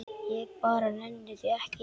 Ég bara nenni því ekki.